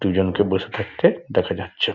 দুজনকে বসে থাকতে দেখা যাচ্ছে--